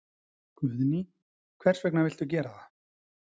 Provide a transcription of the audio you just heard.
Guðný: Hvers vegna viltu gera það?